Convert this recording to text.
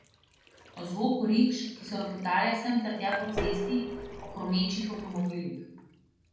O zvoku rikš, ki so ropotale sem ter tja po cesti, o hrumečih avtomobilih.